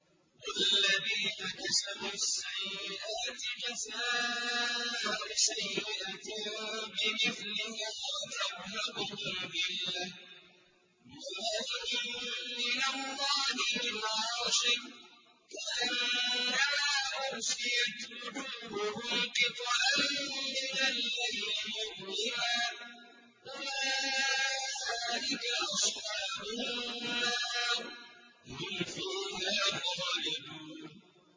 وَالَّذِينَ كَسَبُوا السَّيِّئَاتِ جَزَاءُ سَيِّئَةٍ بِمِثْلِهَا وَتَرْهَقُهُمْ ذِلَّةٌ ۖ مَّا لَهُم مِّنَ اللَّهِ مِنْ عَاصِمٍ ۖ كَأَنَّمَا أُغْشِيَتْ وُجُوهُهُمْ قِطَعًا مِّنَ اللَّيْلِ مُظْلِمًا ۚ أُولَٰئِكَ أَصْحَابُ النَّارِ ۖ هُمْ فِيهَا خَالِدُونَ